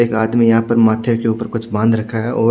एक आदमी यहाँ पर माथे के ऊपर कुछ बांध रखा है और--